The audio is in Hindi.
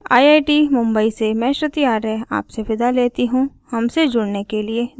आईआईटी मुंबई से मैं श्रुति आर्य आपसे विदा लेती हूँ